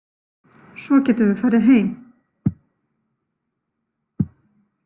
Svo getum við farið heim.